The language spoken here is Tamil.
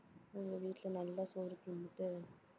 உங்க வீட்டுல நல்லா சோறு தின்னுட்டு